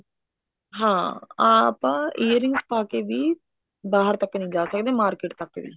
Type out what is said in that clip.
ਹਾਂ ਆਪਾਂ earrings ਪਾ ਕੇ ਵੀ ਬਾਹਰ ਤੱਕ ਨੀ ਜਾ ਸਕਦੇ market ਤੱਕ ਵੀ